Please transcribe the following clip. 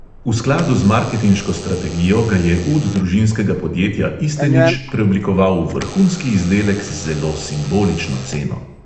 V skladu z marketinško strategijo ga je ud družinskega podjetja istenič preoblikoval v vrhunski izdelek z zelo simbolično ceno.